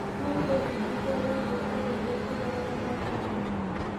No twĩbundithie wĩgiĩ ũndũire kũgerera mathako.